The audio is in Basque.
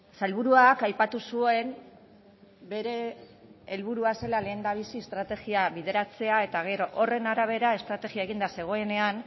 sailburuak aipatu zuen bere helburua zela lehendabizi estrategia bideratzea eta gero horren arabera estrategia eginda zegoenean